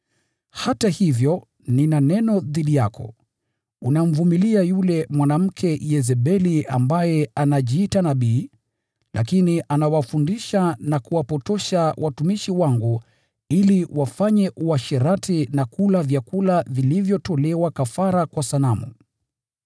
“Hata hivyo, nina neno dhidi yako: Unamvumilia yule mwanamke Yezebeli ambaye anajiita nabii, lakini anawafundisha na kuwapotosha watumishi wangu ili wafanye uasherati na kula vyakula vilivyotolewa kafara kwa sanamu.